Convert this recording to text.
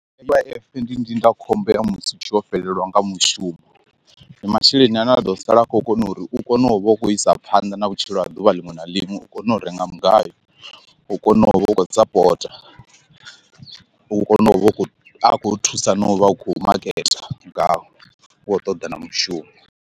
U_I_F ndi ndindakhombo ya musi u tshi vho fhelelwa nga mushumo ndi masheleni ane a ḓo sala a khou kona uri u kone u vha u khou isa phanḓa na vhutshilo ha ḓuvha ḽiṅwe na ḽiṅwe u kone u renga mugayo u kone u vha u khou sapota, u kone u vha u khou a khou thusa na u vha u khou maketa ngawo u ṱoḓa na mushumo.